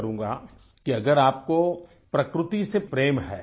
करूँगा कि अगर आपको प्रकृति से प्रेम है